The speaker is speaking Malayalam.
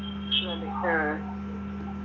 മതി ഉം